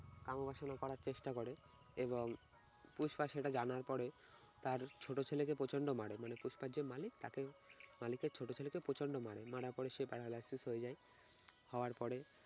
কাম ও বাসনা করার চেষ্টা করে এবং পুষ্পা সেটা জানার পরে তার ছোট ছেলেকে প্রচন্ড মারে মানে পুষ্পার যে মালিক তাকে মালিকের ছোট ছেলেকে প্রচন্ড মারে মারার পরে সে paralysis হয়ে যায়। হওয়ার পরে